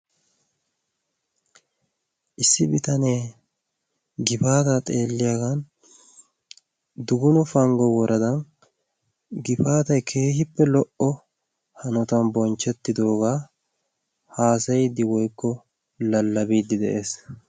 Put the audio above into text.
Issi bitanee gifaata xeelliyaagan duguna panggo woradan gifaatay keehippe lo"o hanotan bonchchettidoogaa haasayiddi woikko lallabiiddi de'ees.